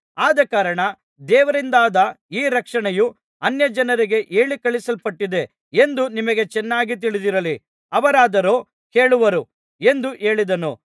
ಆದಕಾರಣ ದೇವರಿಂದಾದ ಈ ರಕ್ಷಣೆಯು ಅನ್ಯಜನರಿಗೆ ಹೇಳಿಕಳುಹಿಸಲ್ಪಟ್ಟಿದೆ ಎಂದು ನಿಮಗೆ ಚೆನ್ನಾಗಿ ತಿಳಿದಿರಲಿ ಅವರಾದರೂ ಕೇಳುವರು ಎಂದು ಹೇಳಿದನು